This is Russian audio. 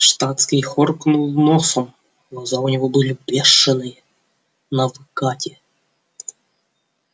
штатский хоркнул носом глаза у него были бешеные навыкате